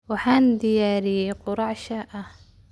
Waxaan diyaariyey quraac shaah ah.